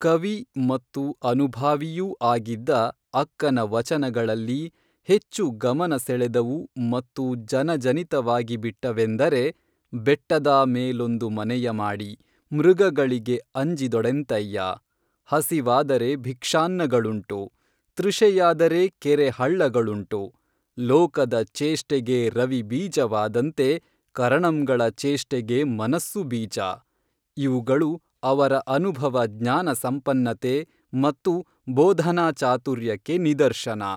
ಕವಿ ಮತ್ತು ಅನುಭಾವಿಯೂ ಆಗಿದ್ದ ಅಕ್ಕನ ವಚನಗಳಲ್ಲಿ ಹೆಚ್ಚು ಗಮನ ಸೆಳೆದವು ಮತ್ತು ಜನಜನಿತವಾಗಿಬಿಟ್ಟವೆಂದರೆ ಬೆಟ್ಟದಾ ಮೇಲೊಂದು ಮನೆಯ ಮಾಡಿ, ಮೃಗಗಳಿಗೆ ಅಂಜಿದೊಡೆಂತಯ್ಯಾ, ಹಸಿವಾದರೆ ಭಿಕ್ಷಾನ್ನಗಳುಂಟು, ತೃಷೆಯಾದರೆ ಕೆರೆ ಹಳ್ಳಗಳುಂಟು, ಲೋಕದ ಚೇಷ್ಟೆಗೆ ರವಿ ಬೀಜವಾದಂತೆ, ಕರಣಂಗಳ ಚೇಷ್ಟೆಗೆ ಮನಸ್ಸು ಬೀಜ, ಇವುಗಳು ಅವರ ಅನುಭವ ಜ್ಞಾನ ಸಂಪನ್ನತೆ ಮತ್ತು ಬೋಧನಾ ಚಾತುರ್ಯಕ್ಕೆ ನಿದರ್ಶನ